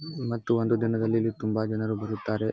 ಮತ್ತು ಒಂದು ದಿನದಲ್ಲಿ ಇಲ್ಲಿ ತುಂಬಾ ಜನರು ಬರುತ್ತಾರೆ.